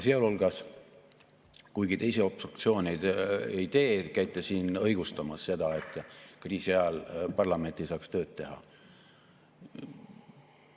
Sealhulgas, kuigi te ise obstruktsiooni ei tee, käite siin õigustamas seda, et kriisi ajal parlament ei saaks tööd teha.